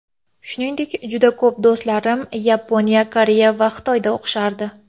Shuningdek, juda ko‘p do‘stlarim Yaponiya, Koreya va Xitoyda o‘qishardi.